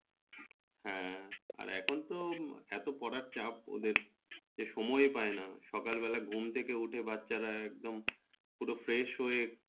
হ্যাঁ মানে এখন তো এত পড়ার চাপ ওদের এ সময়ে পায় না সকাল বেলা ঘুম থেকে উঠে বাচ্চারা একদম পুরো fresh হয়ে